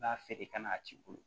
B'a feere ka na a t'i bolo